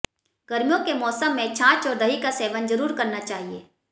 गर्मियों के मौसम में छांछ और दही का सेवन जरूर करना चाहिए